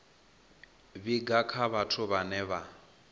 vhiga kha vhathu vhane vha